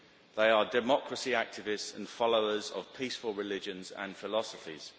they are democracy activists and followers of peaceful religions and philosophies.